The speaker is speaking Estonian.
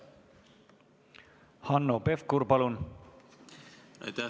Hanno Pevkur, palun!